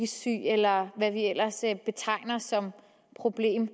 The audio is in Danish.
syg eller hvad vi ellers betegner som et problem